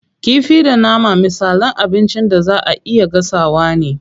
Kifi da nama misalan abincin da zaa a iya gasawa ne.